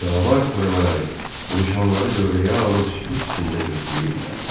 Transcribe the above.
Canavar törəmələri vuruşanları dövrəyə alıb sükut içində gözləyirdilər.